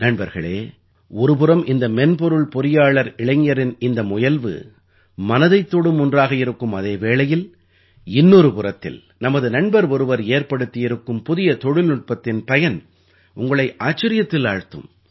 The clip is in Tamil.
நண்பர்களே ஒரு புறம் இந்த மென்பொருள் பொறியாளர் இளைஞரின் இந்த முயல்வு மனதைத் தொடும் ஒன்றாக இருக்கும் அதே வேளையில் இன்னொரு புறத்தில் நமது நண்பர் ஒருவர் ஏற்படுத்தியிருக்கும் புதிய தொழில்நுட்பத்தின் பயன் உங்களை ஆச்சரியத்தில் ஆழ்த்தும்